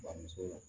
Bamuso la